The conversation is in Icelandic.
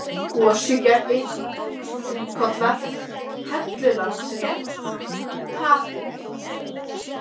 Gosugerði, Þríkollar, Hellulandsrétt, Taðhóll